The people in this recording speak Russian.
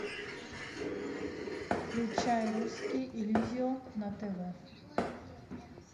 включай русский иллюзион на тв